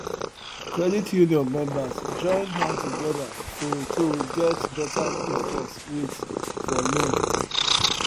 credit union members join hand together to to get better interest rates for loan